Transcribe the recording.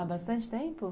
Há bastante tempo?